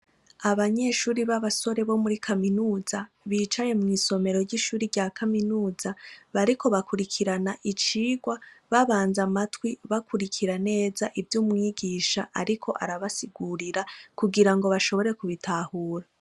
Abanyeshuri b'abasore bo muri kaminuza bicaye mw'isomero ry'ishuri rya kaminuza bariko bakurikirana icigwa babanze amatwi bakurikira neza ivyo umwigisha ariko arabasigurira kugira ngo bashobore kubitahura.